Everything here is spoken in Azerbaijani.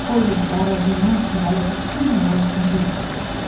O illər, o günlər ki, hələ bütün həyatım irəlidə idi.